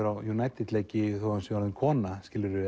á United leiki þó að hann sé orðinn kona